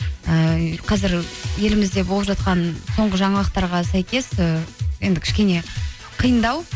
ііі қазір елімізде болып жатқан соңғы жаңалықтарға сәйкес і енді кішкене қиындау